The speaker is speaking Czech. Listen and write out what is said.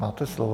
Máte slovo.